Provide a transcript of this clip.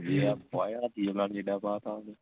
ਪਾ ਦਿੱਤਾ ਉਹਨੂੰ